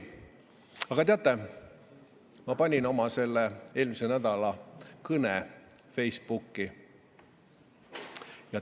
Aga teate, ma panin oma eelmise nädala kõne Facebooki.